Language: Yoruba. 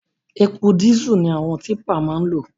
Epo dísù ni àwọn típà máa ń lò